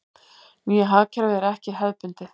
Nýja hagkerfið er ekki hefðbundið.